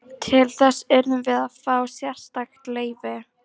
Til þess urðum við að fá sérstakt leyfi.